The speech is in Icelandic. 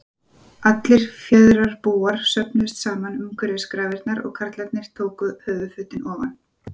Allir fjarðarbúar söfnuðust saman umhverfis grafirnar og karlarnir tóku höfuðfötin ofan.